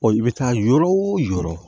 i bɛ taa yɔrɔ o yɔrɔ